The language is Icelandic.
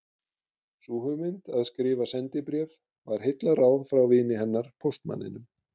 Sú hugmynd að skrifa sendibréf var heillaráð frá vini hennar póstmanninum